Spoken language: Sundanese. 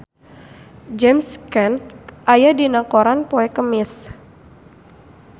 James Caan aya dina koran poe Kemis